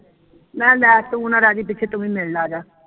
ਮੈਂ ਮੈਂ ਤੂੰ ਨਾ ਰਹਿ ਜੀ ਪਿੱਛੇ ਤੂੰ ਵੀ ਮਿਲ ਜਾ ਆਜਾ